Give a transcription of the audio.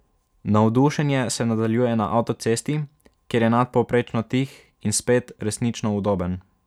Navdušenje se nadaljuje na avtocesti, kjer je nadpovprečno tih in spet, resnično udoben.